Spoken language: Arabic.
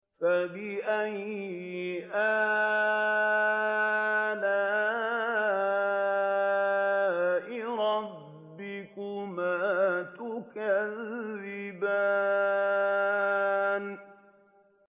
فَبِأَيِّ آلَاءِ رَبِّكُمَا تُكَذِّبَانِ